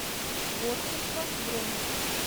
творчество бронь